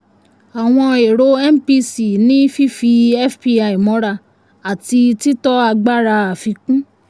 àwọn erò mpc ni fífi fpi mọ́ra àti títọ́ agbára àfikún.